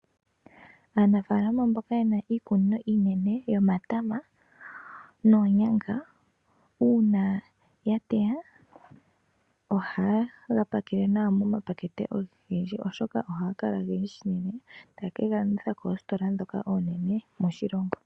Aanafalama mboka yena iikunino iinene yo matama noonyanga uuna ya teya oha yega pakele nawa moma pakete ogendji, oshoka ohaga kala ogendji shinene ta yeke galanditha koositola dhoka oonene moshilongo.